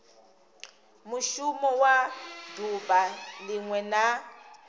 mushumo wa duvha linwe na